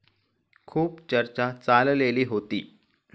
खूप चर्चा चाललेली होती.